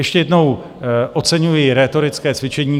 Ještě jednou, oceňuji rétorické cvičení.